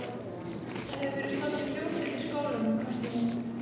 Það hefur verið stofnuð hljómsveit í skólanum hvæsti hún.